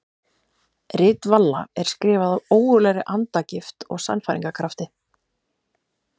Rit Valla er skrifað af ógurlegri andagift og sannfæringarkrafti.